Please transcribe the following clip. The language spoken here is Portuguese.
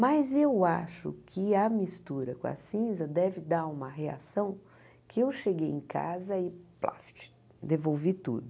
Mas eu acho que a mistura com a cinza deve dar uma reação que eu cheguei em casa e plaft, devolvi tudo.